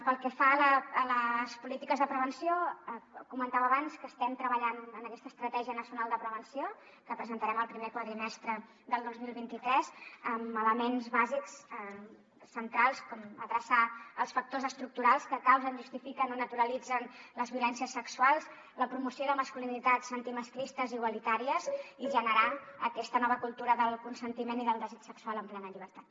pel que fa a les polítiques de prevenció comentava abans que estem treballant en aquesta estratègia nacional de prevenció que presentarem el primer quadrimestre del dos mil vint tres amb elements bàsics centrals com adreçar els factors estructurals que causen justifiquen o naturalitzen les violències sexuals la promoció de masculinitats antimasclistes i igualitàries i generar aquesta nova cultura del consentiment i del desig sexual en plena llibertat